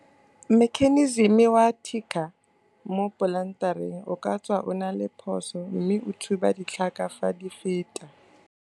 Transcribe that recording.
Mekheniseme wa ticker mo polantereng o ka tswa o na le phoso mme o thuba ditlhaka fa di feta.